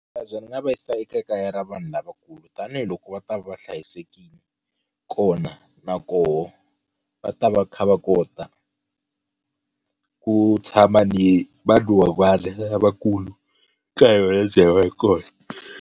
Bazi ri nga va yisa eka kaya ra vanhu lavakulu tanihikoko va ta va va hlayisekile, kona na koho va ta va kha va kota ku tshama ni vadyuhari lavakulu ka yona lebyi hi va hi kona.